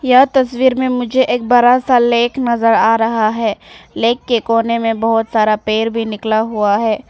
यह तस्वीर मे मुझे एक बड़ा सा लेख नजर आ रहा है लेख के कोने में बहोत सारा पेड़ भी निकला हुआ है।